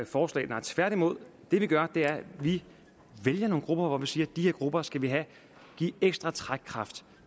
forslag nej tværtimod det vi gør er at vi vælger nogle grupper og siger at de her grupper skal vi give ekstra trækkraft